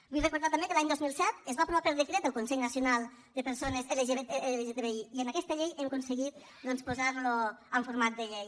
vull recordar també que l’any dos mil set es va aprovar per decret el consell nacional de persones lgtbi i en aquesta llei hem aconseguit posar lo en format de llei